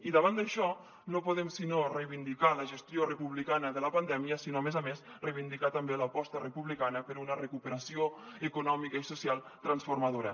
i davant d’això no podem sinó reivindicar la gestió republicana de la pandèmia sinó a més a més reivindicar també l’aposta republicana per una recuperació econòmica i social transformadora